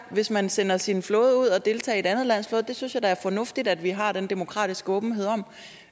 hvis man sender sin flåde ud at deltage i et andet lands flåde det synes jeg da er fornuftigt at vi har den demokratiske åbenhed om